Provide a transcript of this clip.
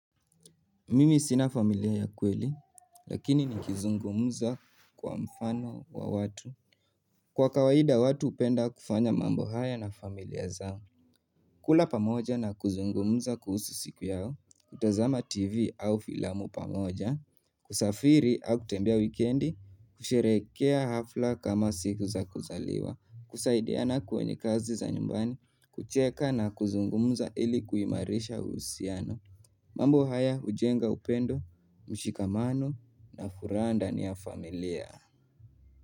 Mimi sina familia ya kweli, lakini ni kizungumuza kwa mfano wa watu. Kwa kawaida watu upenda kufanya mambo haya na familia zao. Kula pamoja na kuzungumza kuhusu siku yao, kutazama TV au filamu pamoja, kusafiri au kutembea wikendi, kusherekea hafla kama siku za kuzaliwa, kusaidiana kwenye kazi za nyumbani, kucheka na kuzungumuza ili kuimarisha uhusiano. Mambo haya ujenga upendo, mshikamano na furaha ndani ya familia.